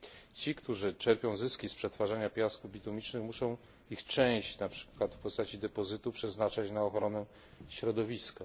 Ci, którzy czerpią zyski z przetwarzania piasków bitumicznych, muszą ich część, na przykład w postaci depozytu, przeznaczać na ochronę środowiska.